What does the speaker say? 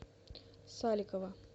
саликова